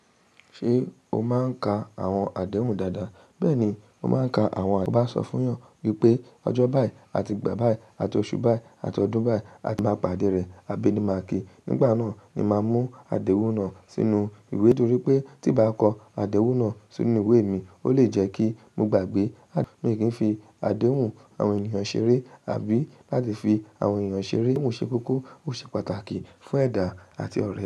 Ṣé o máa ń ka àwọn àdéhùn dáadáa? Bẹ́ẹ̀ni, mo máa ń ka àwọn àdéhùn dáadáa. Sọ fún yàn wípé ọjọ́ báì àti ìgbà báì àti oṣù báì àti ọdún báì àti bá pàdé rẹ̀, abéni máa kí. Nígbà náà ni màá mú àdéhùn náà sínú ìwé, nítorí pé tí bàá kọ àdéhùn náà sínú ìwé mi, ó lè jẹ́ kí mo gbàgbé. Mi kí ń fi àdéhùn àwọn ènìyàn ṣeré àbí láti fi àwọn ènìyàn ṣeré. N o ṣe kókó, ó ṣe pàtàkì fún ẹ̀dá àti ọ̀rẹ́